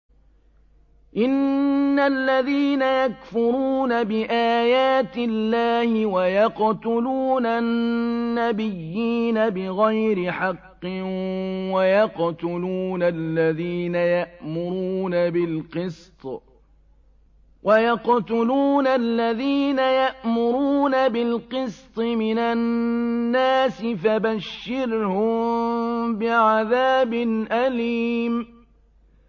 إِنَّ الَّذِينَ يَكْفُرُونَ بِآيَاتِ اللَّهِ وَيَقْتُلُونَ النَّبِيِّينَ بِغَيْرِ حَقٍّ وَيَقْتُلُونَ الَّذِينَ يَأْمُرُونَ بِالْقِسْطِ مِنَ النَّاسِ فَبَشِّرْهُم بِعَذَابٍ أَلِيمٍ